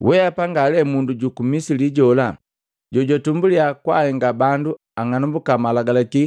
Weapa ngalee mundu juku Misili jola jojwatumbuliya jojahenga bandu ang'anambuka malagalaki